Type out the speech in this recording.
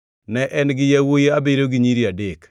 Ne en gi yawuowi abiriyo gi nyiri adek